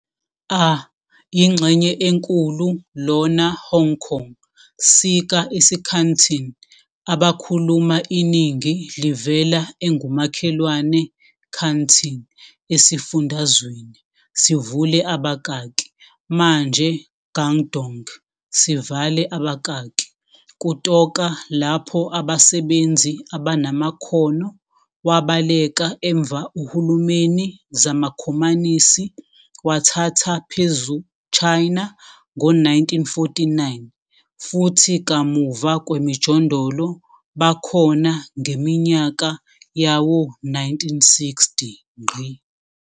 A ingxenye enkulu lona Hong Kong sika isiCanton abakhuluma iningi livela engumakhelwane Canton esifundazweni, sivule abakaki manje Guangdong sivale babakaki, kutoka lapho abasebenzi abanamakhono wabaleka emva uhulumeni zamaKhomanisi wathatha phezu China Ngo-1949 futhi kamuva kwemijondolo bakhona ngeminyaka yawo-1960.